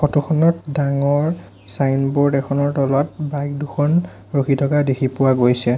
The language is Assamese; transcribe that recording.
ফটো খনত ডাঙৰ ছাইনবোৰ্ড এখনৰ তলত বাইক দুখন ৰখি থকা দেখি পোৱা গৈছে।